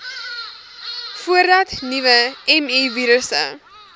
voordat nuwe mivirusse